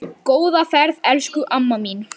Góða ferð elsku amma mín.